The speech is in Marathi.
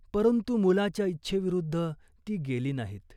परंतु मुलाच्या इच्छेविरुद्ध ती गेली नाहीत.